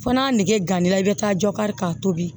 Fɔ n'a nege gangani i bɛ taa jɔ kari k'a tobi